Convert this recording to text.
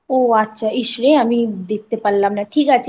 ও আচ্ছা ইস রে আমি দেখতে পেলাম না